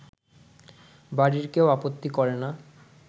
বাড়ির কেউ আপত্তি করে না